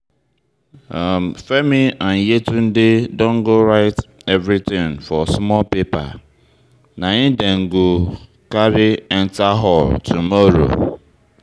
Femi and Yetunde don go write everything for small paper, na im dey go carry enter hall tomorrow